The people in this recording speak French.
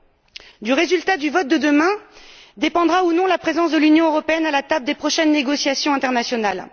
C'est du résultat du vote de demain que dépendra la présence de l'Union européenne à la table des prochaines négociations internationales.